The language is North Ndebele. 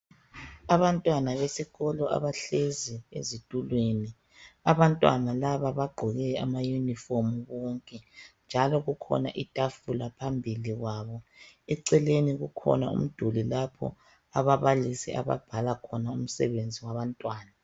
Abantwana esikolo abahlezi ezitulweni. Abantwana laba bagqoke ama uniform bonke njalo kukhona itafula phambili kwabo. Eceleni kukhona umduli lapho ababalisi ababhala khona umsebenzi wabantwana